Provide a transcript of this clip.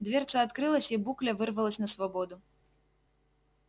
дверца открылась и букля вырвалась на свободу